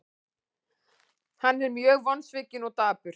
Hann er mjög vonsvikinn og dapur.